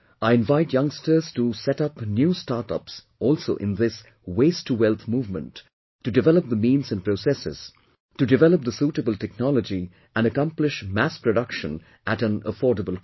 I invite youngsters to set up new 'start ups' also in this 'Waste to Wealth' movement to develop the means and processes, to develop the suitable technology and accomplish mass production at an affordable cost